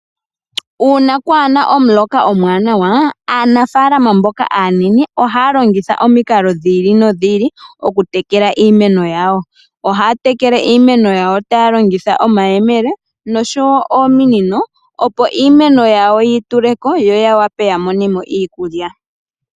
Uuna kwaa na omuloka omuwanawa. Aanafalama mboka aanene ohaya longitha omikalo dhi ili nodhi ili okutekela iimeno yawo. Ohaya tekele iimeno yawo taya longitha omayemele nosho wo ominino, opo iimeno yawo yi tule ko yo ya wape ya mone mo iikulya.